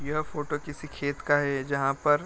यह फोटो किसी खेत का है जहाँ पर --